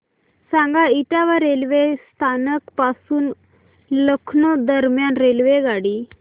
सांगा इटावा रेल्वे स्थानक पासून लखनौ दरम्यान रेल्वेगाडी